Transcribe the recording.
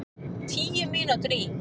Tíu mínútur í